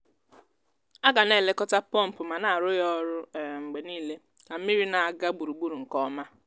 a gà n' èlékọ́tá pompụ mà ná àrụ́ ya ọrụ um mgbe niile ka mmiri na-aga gburugburu nke ọma.